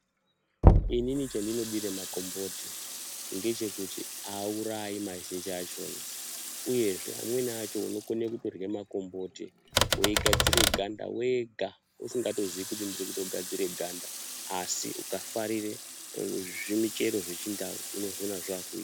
Inini chendinodire makomboti ndechekuti haurai mazhinji achona, uyezve amweni acho unokone kutorye makomboti veigadzire ganda wega usingatoziyi kuti ndiri kutogadzire ganda. Asi ukafarire zvimichero zvechindau unozviona zvakuita.